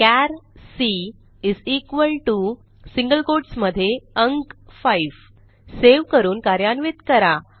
चार C single quotes मध्ये अंक 5 सेव्ह करून कार्यान्वित करा